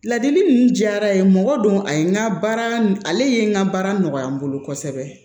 Ladili ninnu diyara ye mɔgɔ don a ye n ka baara ale ye n ka baara nɔgɔya n bolo kosɛbɛ